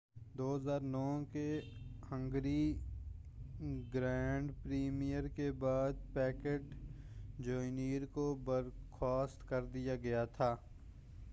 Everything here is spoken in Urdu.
2009 کے ہنگری گرانڈ پری کے بعد پیکیٹ جونیئر کو برخواست کر دیا گیا تھا